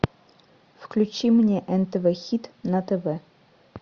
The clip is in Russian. включи мне нтв хит на тв